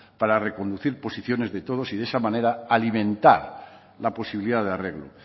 para reconducir posiciones de todos y de esa manera alimentar la posibilidad de arreglo